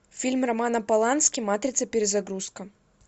фильм романа полански матрица перезагрузка